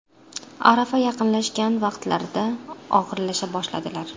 Arafa yaqinlashgan vaqtlarida og‘irlasha boshladilar.